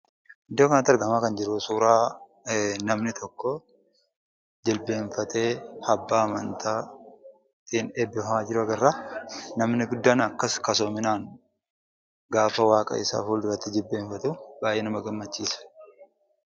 Iddoo kanatti argamaa kan jiru, suuraa namni tokko jilbeenfatee abbaa amantaatiin eebbifamaa jiru agarra. Namni guddaan akkas kasoominaan gaafa waaqasaa fuulduratti jilbeeffatu baay'ee nama gammachiisa!